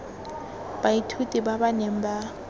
baithuti ba ba neng ba